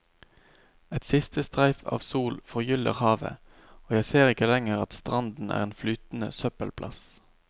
Et siste streif av sol forgyller havet, og jeg ser ikke lenger at stranden er en flytende søppelplass.